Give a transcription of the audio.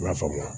I la faamuya